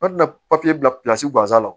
N'a papiye bilasi guwanza la